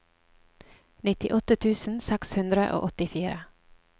nittiåtte tusen seks hundre og åttifire